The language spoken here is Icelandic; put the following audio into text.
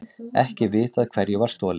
Ekki vitað hverju var stolið